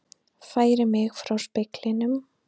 Færi mig frá speglinum.